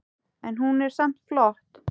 En hún er samt flott.